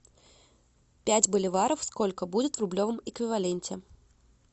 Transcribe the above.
пять боливаров сколько будет в рублевом эквиваленте